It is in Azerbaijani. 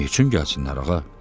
Neçün gəlsinlər, ağa?